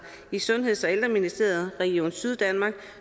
i sundheds og ældreministeriet region syddanmark